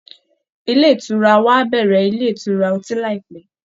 Ilé ìtura wa á bẹ̀rẹ̀ ilé ìtura ọtí láìpẹ́